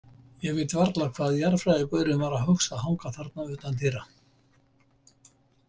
Ég veit varla hvað jarðfræðigaurinn var að hugsa að hanga þarna utan dyra.